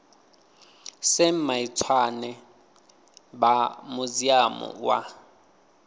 sam maitswane vha muziamu wa